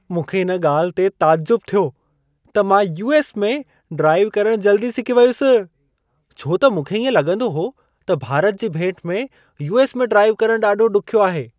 मूंखे इन ॻाल्हि ते तइजुब थियो त मां यू.एस. में ड्राइव करण जल्दी सिखी वियुसि, छो त मूंखे इएं लॻंदो हो, त भारत जी भेट में यू.एस. में ड्राइव करण ॾाढो ॾुखियो आहे।